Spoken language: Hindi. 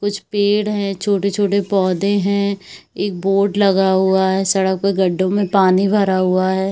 कुछ पेड़ है छोटे-छोटे पौधे हैं एक बोर्ड लगा हुआ है सड़क पे गड्ढो में पानी भरा हुआ है।